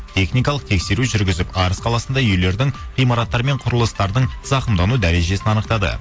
техникалық тексеру жүргізіп арыс қаласында үйлердің ғимараттар мен құрылыстардың зақымдану дәрежесін анықтады